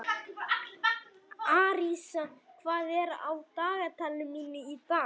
Arisa, hvað er á dagatalinu mínu í dag?